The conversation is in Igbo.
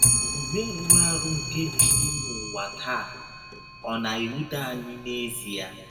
Ọmụme rụrụ arụ nke jụrụ n’ụwa taa, ọ̀ na - ewụte anyị n’ezie?